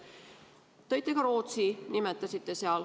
Nimetasite ka Rootsit.